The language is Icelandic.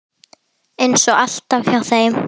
Eins og alltaf hjá þeim.